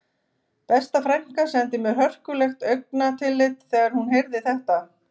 Besta frænka sendi mér hörkulegt augnatillit þegar hún heyrði þetta